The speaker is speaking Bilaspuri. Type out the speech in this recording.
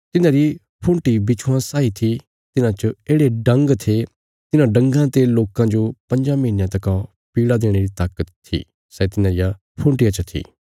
तिन्हांरी फूंटी बिच्छुआं साई थी तिन्हां च येढ़े डंग थे तिन्हां डंगा ते लोकां जो पँज्जां महीनयां तका पीड़ा देणे री ताकत थी सै तिन्हां रिया फूंटीयां च थी